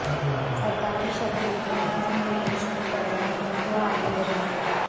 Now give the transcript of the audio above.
सरकारी शब्दों में इस निर्देश को पढ़ना है तो आगे बढ़िये